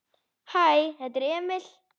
Hæ, þetta er Emil.